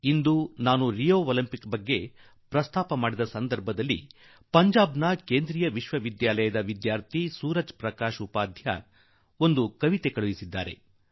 ನಾನು ಈಗ Rio Olympics ಕುರಿತು ಮಾತನಾಡುತ್ತಿರುವಾಗ ಒಬ್ಬ ಕವಿತೆ ಪ್ರೇಮಿ ಪಂಜಾಬ್ ಕೇಂದ್ರೀಯ ವಿಶ್ವವಿದ್ಯಾಲಯದ ವಿದ್ಯಾಥಿ ಸೂರಜ್ ಪ್ರಕಾಶ್ ಉಪಾಧ್ಯಾಯ ಒಂದು ಕವಿತೆ ಕಳುಹಿಸಿದ್ದಾರೆ